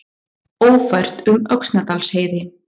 Ófært um Öxnadalsheiði